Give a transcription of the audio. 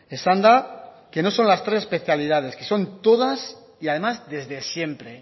esan da que no son las tres especialidades que son todas y además desde siempre